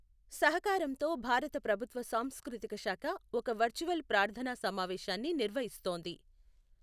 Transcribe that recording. సహకారంతో భారత ప్రభుత్వ సాంస్కృతిక శాఖ ఒక వర్చ్యువల్ ప్రార్ధనా సమావేశాన్ని నిర్వహిస్తోంది.